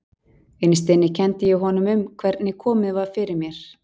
Innst inni kenndi ég honum um hvernig komið var fyrir mér.